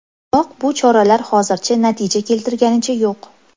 Biroq bu choralar hozircha natija keltirganicha yo‘q.